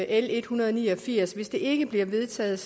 l en hundrede og ni og firs og hvis det ikke bliver vedtaget